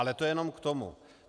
Ale to jenom k tomu.